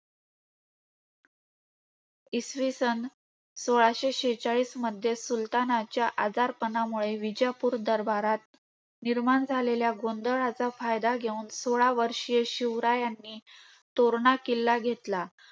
इसवी सन सोळाशे शेचाळीसमध्ये सुलतानाच्या आजारपणामुळे, विजापूर दरबारात निर्माण झालेल्या गोंधळाचा फायदा घेऊन सोळावर्षीय शिवरायांनी तोरणा किल्ला घेतला.